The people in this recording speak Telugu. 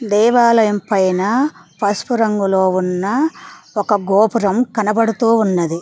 దేవాలయం పైన పసుపు రంగులో ఉన్న ఒక గోపురం కనబడుతూ ఉన్నది.